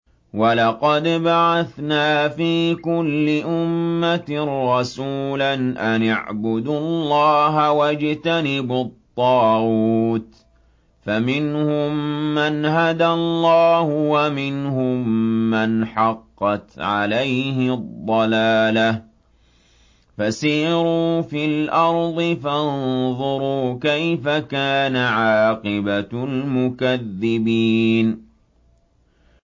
وَلَقَدْ بَعَثْنَا فِي كُلِّ أُمَّةٍ رَّسُولًا أَنِ اعْبُدُوا اللَّهَ وَاجْتَنِبُوا الطَّاغُوتَ ۖ فَمِنْهُم مَّنْ هَدَى اللَّهُ وَمِنْهُم مَّنْ حَقَّتْ عَلَيْهِ الضَّلَالَةُ ۚ فَسِيرُوا فِي الْأَرْضِ فَانظُرُوا كَيْفَ كَانَ عَاقِبَةُ الْمُكَذِّبِينَ